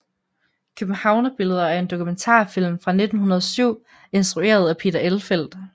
Københavnerbilleder er en dokumentarfilm fra 1907 instrueret af Peter Elfelt